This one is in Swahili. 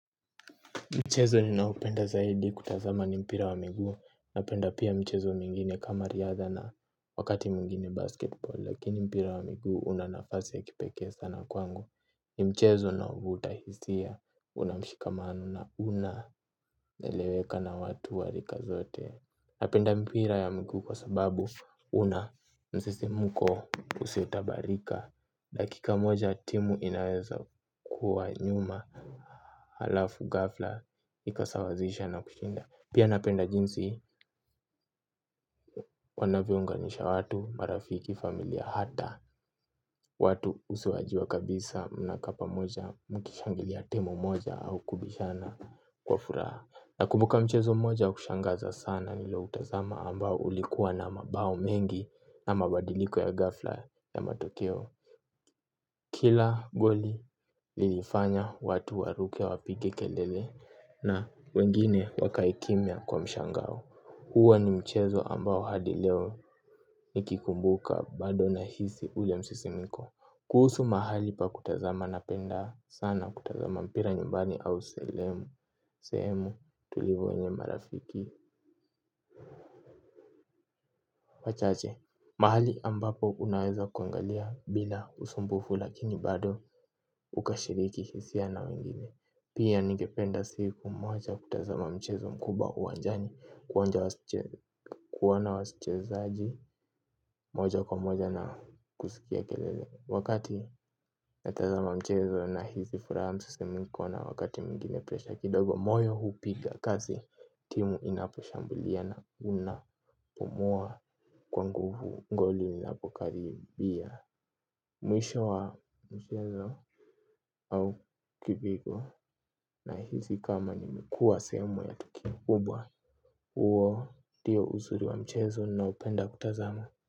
Mchezo ninaupenda zaidi kutazama ni mpira wa miguu. Napenda pia mchezo mingine kama riadha na wakati mwingine basketball. Lakini mpira wa miguu una nafasi ya kipeke sana kwangu. Ni mchezo na uvutahizia unamshikamanu na una neleweka na watu wa rika zote. Napenda mpira ya miguu kwa sababu una msismuko usio tabarika. Dakika moja timu inaweza kuwa nyuma halafu gafla ikasawazisha na kushinda pia napenda jinsi wanavyounganisha watu marafiki familia hata watu usuwajie kabisa mnakaa pamoja mkishangilia timu moja au kubishana kwa furaha namkubuka mchezo moja wa kushangaza sana niliutazama ambao ulikuwa na mabao mengi na mabadiliko ya gafla ya matokeo kila goli lilifanya watu waruke wapige kelele na wengine wakaikimia kwa mshangao. Huwa ni mchezo ambao hadi leo nikikumbuka bado nahisi ule msisimiko. Kuhusu mahali pa kutazama na penda sana kutazama mpira nyumbani au sehemu tulivu wenye marafiki wachache, mahali ambapo unaweza kuangalia bila usumbufu lakini bado ukashiriki hisia na wengine. Pia nigependa siku moja kutazama mchezo mkubwa uwanjani. Kuona wasichezaji moja kwa moja na kusikia kelele. Wakati natazama mchezo nahizi furaha msisimiko na wakati mwingine presha kidogo. Moyo hupiga kasi timu inaposhambulia na unapumua kwa nguvu ngoli linapokaribia. Mwisho wa mchezo au kipigo nahizi kama nimekuwa sehemu ya tukio kubwa uo diyo uzuri wa mchezo naoupenda kutazama.